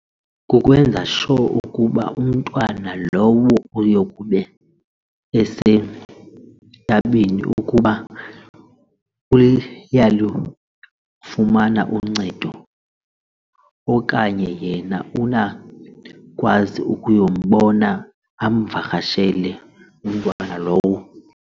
Kukwenza-sure ukuba umntwana lowo uyokbe esentabeni ukuba uyalukufumana uncedo okanye yena unakwazi ukuyombona amvakashele umntwana lowo.